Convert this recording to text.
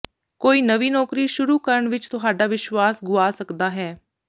ਕੋਈ ਨਵੀਂ ਨੌਕਰੀ ਸ਼ੁਰੂ ਕਰਨ ਵਿਚ ਤੁਹਾਡਾ ਵਿਸ਼ਵਾਸ ਗੁਆ ਸਕਦਾ ਹੈ